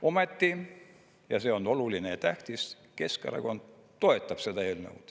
Ometi – ja see on oluline ja tähtis – Keskerakond toetab seda eelnõu.